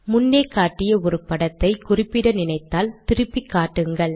முன்னே காட்டிய ஒரு படத்தை குறிப்பிட நினைத்தால் திருப்பிக்காட்டுங்கள்